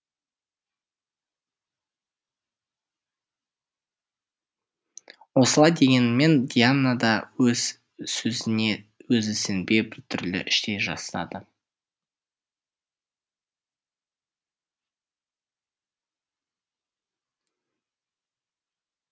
осылай дегенімен диана да өз сөзіне өзі сенбей біртүрлі іштей жасыды